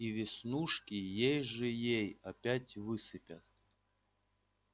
и веснушки ей-же-ей опять высыпят